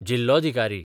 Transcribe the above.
जिल्लोधिकारी